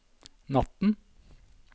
natten